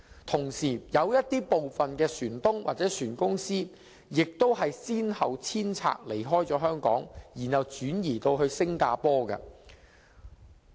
同時，有部分船東或船公司亦先後遷拆，離開香港，轉移至新加坡。